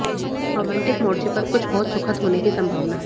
romantic मोर्चे पर कुछ बहुत सुखद होने की संभावना है